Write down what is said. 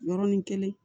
Yɔrɔnin kelen